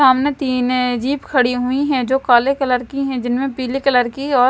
सामने तीन है। जिप खड़ी हुई है जो काले कलर की है। जिनमें पीले कलर की और--